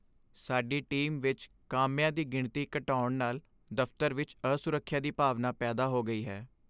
ਸਾਡੀ ਟੀਮ ਵਿਚ ਕਾਮਿਆਂ ਦੀ ਗਿਣਤੀ ਘਟਾਉਣ ਨਾਲ ਦਫ਼ਤਰ ਵਿੱਚ ਅਸੁਰੱਖਿਆ ਦੀ ਭਾਵਨਾ ਪੈਦਾ ਹੋ ਗਈ ਹੈ।